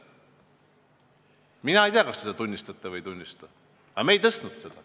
Mina ei tea, kas te seda tunnistate või ei, aga meie seda maksu ei tõstnud.